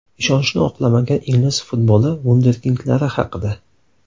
Ishonchni oqlamagan ingliz futboli vunderkindlari haqida.